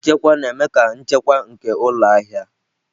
Nchekwa na-eme ka nchekwa nke ụlọ ahịa ahịa.